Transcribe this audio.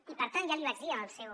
i per tant ja li vaig dir en el seu